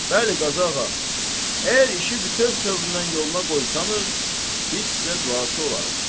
Bəli, Qazıağa, əgər işi bütöv tövrdən yoluna qoysanız, biz sizə duaçı olarıq.